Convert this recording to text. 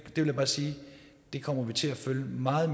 vil jeg bare sige at vi kommer til at følge meget